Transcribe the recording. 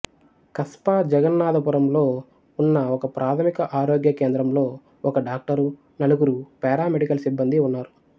కస్ప జగన్నాధపురంలో ఉన్న ఒకప్రాథమిక ఆరోగ్య కేంద్రంలో ఒక డాక్టరు నలుగురు పారామెడికల్ సిబ్బందీ ఉన్నారు